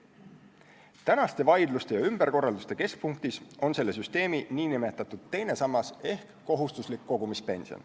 Tänaste vaidluste ja ümberkorralduste keskpunktis on selle süsteemi nn teine sammas ehk kohustuslik kogumispension.